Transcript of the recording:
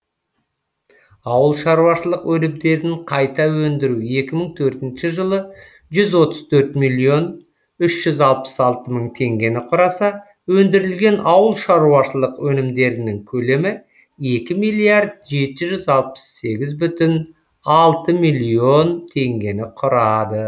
ауыл шаруашылық өнімдерін қайта өндіру екі мың төртінші жылы жүз отыз төрт миллион үш жүз алпыс алты мың тенгені құраса өндірілген ауыл шаруашылық өнімдерінің көлемі екі миллиард жеті жүз алпыс сегіз бүтін алты миллион тенгені құрады